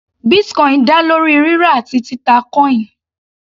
Bitcoin dá lórí rírà àti títà coin.